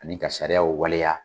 Ani ka sariyaw waleya.